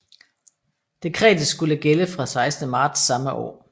Dekretet skulle gælde fra 16 marts samme år